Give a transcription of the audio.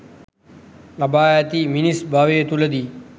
ලබා ඇති මිනිස් භවය තුළදී